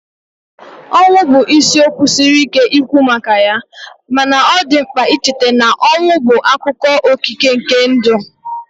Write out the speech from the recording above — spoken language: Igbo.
Ọnwụ bụ isiokwu siri ike ikwu maka ya, mana ọ dị mkpa icheta na ọnwụ bụ akụkụ okike nke ndụ